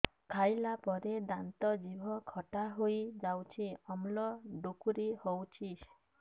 ଖାଇଲା ପରେ ଦାନ୍ତ ଜିଭ ଖଟା ହେଇଯାଉଛି ଅମ୍ଳ ଡ଼ୁକରି ହଉଛି